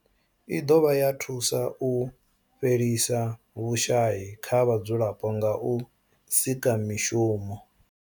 I dovha ya thusa u fhelisa vhushayi kha vhadzulapo nga u sika mishumo.